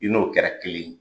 I n'o kɛra kelen ye.